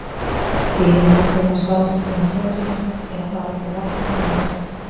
Dýrin notuðu þá svalasta tíma sólarhringsins til að fara upp úr vatninu og næra sig.